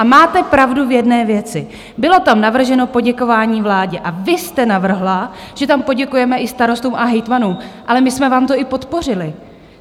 A máte pravdu v jedné věci, bylo tam navrženo poděkování vládě, a vy jste navrhla, že tam poděkujeme i starostům a hejtmanům, ale my jsme vám to i podpořili.